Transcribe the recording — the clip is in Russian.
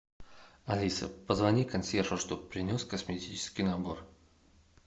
алиса позвони консьержу чтобы принес косметический набор